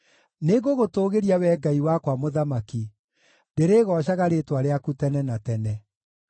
Nĩngũgũtũũgĩria, Wee Ngai wakwa Mũthamaki; ndĩrĩĩgoocaga rĩĩtwa rĩaku tene na tene.